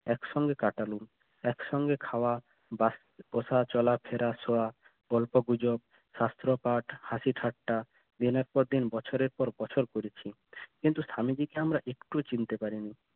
একসঙ্গে কাটালেন একসঙ্গে খাওয়া বা বসা চলা ফেরা শোয়া গল্পগুজব শাস্ত্র পাঠ হাসি-ঠাট্টা দিনের পর দিন বছরের পর বছর কিন্তু স্বামীজিকে আমরা একটুও চিন্তা পারিনি